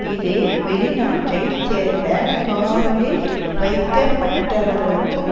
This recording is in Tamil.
இது வெளி நாட்டை சேர்ந்த காவலில் வைக்க பட்டவர்களுக்கும்